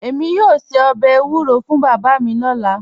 Èmi yoo ṣẹ̀ ọbẹ̀ ewuro fún baba mi lọla